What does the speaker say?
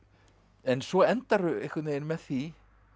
en svo endarðu einhvern veginn með því